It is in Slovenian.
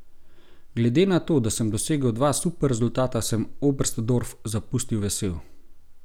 Glede na to, da sem dosegel dva super rezultata, sem Oberstdorf zapustil vesel.